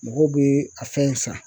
Mɔgɔw bɛ a fɛn san